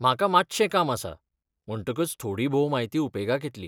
म्हाका मात्शें काम आसा म्हणटकच थोडीभोव म्हायती उपेगाक येतली.